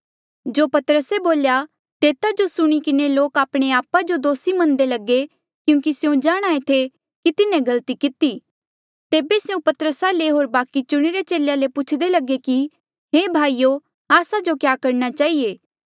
जो पतरसे बोल्या तेता जो सुणी किन्हें लोक आपणे आपा जो दोसी मन्नदे लगे क्यूंकि स्यों जाणहां ऐें थे कि तिन्हें गलती किती होर तेबे तिन्हें पतरसा ले होर बाकि चुणिरे चेलेया ले पुछदे लगे कि हे भाईयो आस्सा जो क्या करणा चहिए